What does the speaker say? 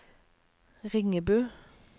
Ringebu